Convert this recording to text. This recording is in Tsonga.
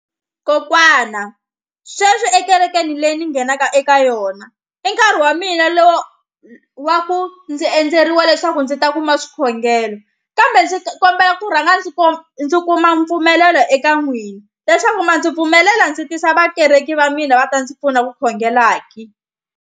Kokwana sweswi ekerekeni leyi ni nghenaka eka yona i nkarhi wa mina lowo wa ku ndzi endzeriwa leswaku ndzi ta kuma swikhongelo kambe ndzi kombela ku rhanga ndzi ndzi kuma mpfumelelo eka n'wina leswaku ma ndzi pfumelela ndzi tisa vakereki va mina va ta ndzi pfuna ku khongela ki.